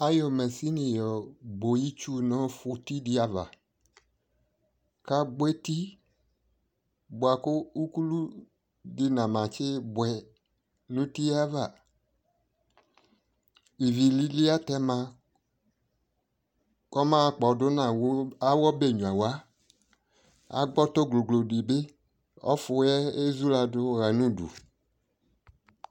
ayɔ mashini yɔ gbɔ itsʋ nʋ ʋti di aɣa kʋ ʋkʋlʋ di namatsi bʋɛ nʋ ʋtiɛ aɣa, ivi lili atɛma kʋ ɔba kpɔdʋ nʋ awʋ ɔbɛ nyʋawa, agbɔ ɔtɔ glɔglɔ di bi, ɛfʋɛ ɛzʋladʋ ha nʋdʋ